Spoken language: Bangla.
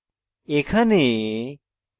এখানে